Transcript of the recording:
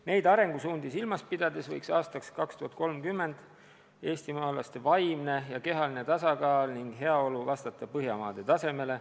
Neid arengusuundi silmas pidades võiks aastaks 2030 eestimaalaste vaimne ja kehaline tasakaal ning heaolu vastata Põhjamaade tasemele.